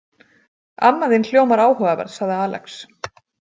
Amma þín hljómar áhugaverð, sagði Alex.